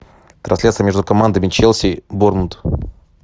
трансляция между командами челси борнмут